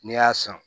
N'i y'a san